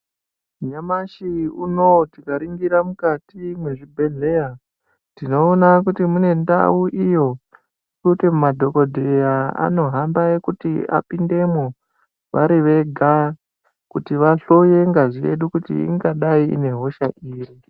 Nyamashi uno ,tikaringira mukati mezvibhedleya tinowona kuti munendau iyo inoti madhogodheya anohamba ekuti apindemo vari vega kuti vahlore ngazi yedu, kuti ingadai inehosha ipi.